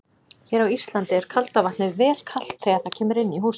Hér á Íslandi er kalda vatnið vel kalt þegar það kemur inn í húsin.